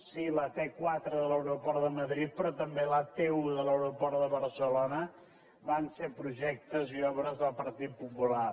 sí la t·quatre de l’aeroport de madrid però també la t·un de l’aeroport de barcelona van ser projectes i obres del partit popular